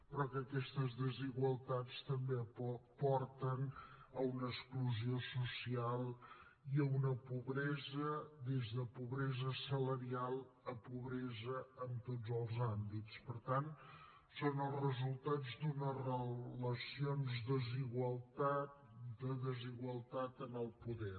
però aquestes desigualtats també porten a una exclusió social i a una pobresa de pobresa salarial a pobresa en tots els àmbits per tant són els resultats d’unes relacions de desigualtat en el poder